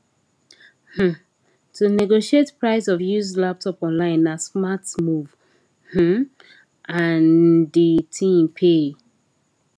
um to negotiate price of used laptop online na smart move um an the thing pay